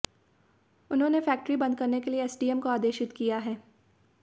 उन्होंने फैक्ट्री बंद करने के लिये एस डी एम को आदेशित किया है